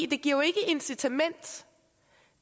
det giver ikke incitament